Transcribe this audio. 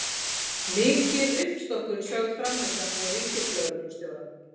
Mikil uppstokkun sögð framundan hjá ríkislögreglustjóra